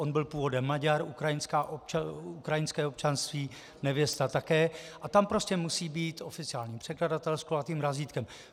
On byl původem Maďar, ukrajinské občanství, nevěsta také, a tam prostě musí být oficiální překladatel s kulatým razítkem.